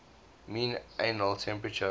mean annual temperature